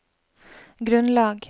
grunnlag